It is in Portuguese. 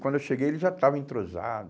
Quando eu cheguei, ele já estava entrosado.